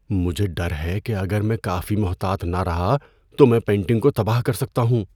مجھے ڈر ہے کہ اگر میں کافی محتاط نہ رہا تو میں پینٹنگ کو تباہ کر سکتا ہوں۔